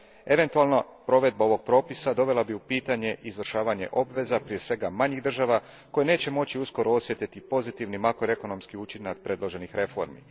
Eventualno provedba ovog propisa dovela bi u pitanje izvršavanje obveza, prije svega manjih država, koje neće moći uskoro osjetiti pozitivni makroekonomski učinak predloženih reformi.